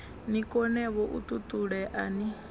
ni konevho u ṱuṱulea ni